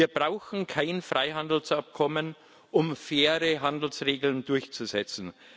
Wir brauchen kein Freihandelsabkommen, um faire Handelsregeln durchzusetzen.